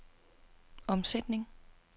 omsætning